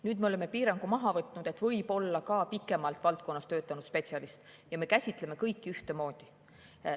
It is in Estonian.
Nüüd me oleme piirangu maha võtnud, võib ka pikemalt valdkonnas töötanud spetsialist, me käsitleme kõiki ühtemoodi.